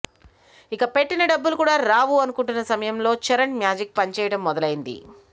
ఇక పెట్టిన డబ్బులు కూడా రావు అనుకుంటున్న సమయంలో చరణ్ మ్యాజిక్ పని చేయడం మొదలయ్యింది